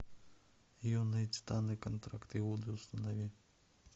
юные титаны контракт иуды установи